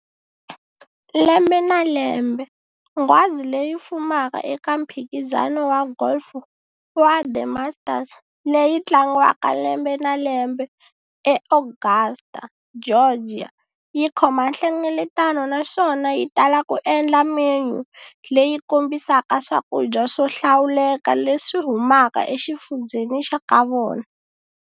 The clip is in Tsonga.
Lembe na lembe, nghwazi leyi fumaka eka mphikizano wa golf wa The Masters, leyi tlangiwaka lembe na lembe eAugusta, Georgia, yi khoma nhlengeletano naswona yi tala ku endla menyu leyi kombisaka swakudya swo hlawuleka leswi humaka exifundzheni xa ka vona.